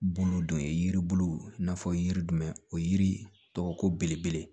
Bulu dɔ ye yiri bulu i n'a fɔ yiri jumɛn o yiri tɔgɔ ko ko belebele